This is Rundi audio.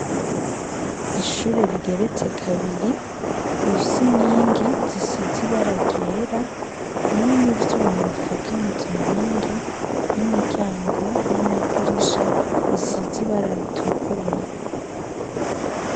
Ishure rigeretse kabiri bifse nkingi zisizi baragera hamwe n'ivyuma bifatanyizo nkingi n'imiryango n'amadirisha bisizi bararitukura.